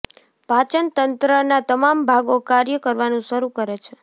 પાચન તંત્રના તમામ ભાગો કાર્ય કરવાનું શરૂ કરે છે